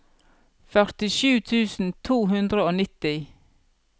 førtisju tusen to hundre og nitti